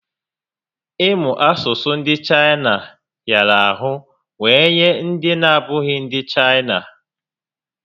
Ị mụ asụsụ Chaịna hịara ahụ wee nye ndị na abụghị ndị Chaịna